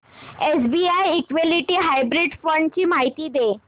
SBI equity hybrid fund ची माहिती दे